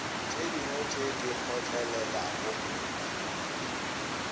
tše dingwe tše di kgotlelelago